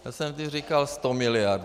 Já jsem vždy říkal 100 miliard.